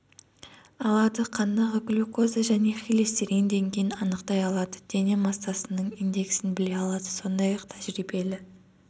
алады қандағы глюкоза және холестерин деңгейін анықтай алады дене массасының индексін біле алады сондай-ақ тәжірибелі